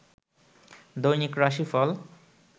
দৈনিক রাশিফল